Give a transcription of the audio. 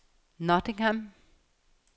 Nottingham